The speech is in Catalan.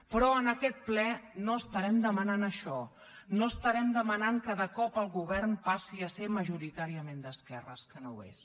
però en aquest ple no estarem demanant això no estarem demanant cada cop al govern que passi a ser majoritàriament d’esquerres que no ho és